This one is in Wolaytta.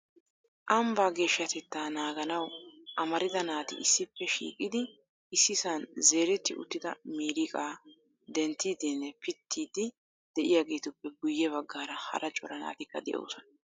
Ambbaa geshshatetta naaganaw amarida naati issippe shiiqidi issisan zeeretti uttida miiriqqaa denttidinne pittiidi de'iyaageetuppe guyye baggaara hara cora naatikka de'oosona.